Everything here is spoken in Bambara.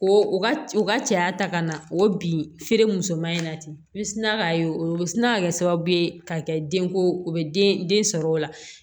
Ko u ka cɛya ta ka na o bin feere musoman in na ten i bɛ sina k'a ye o bɛ sina ka kɛ sababu ye ka kɛ denko o bɛ den den sɔrɔ o la